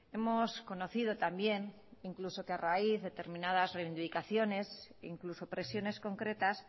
hemos conocido también incluso que a raíz de determinadas reivindicaciones incluso presiones concretas